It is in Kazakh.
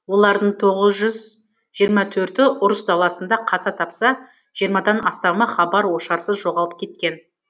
олардың тоғыз жүз жиырма төрті ұрыс даласында қаза тапса жиырмадан астамы хабар ошарсыз жоғалып кеткен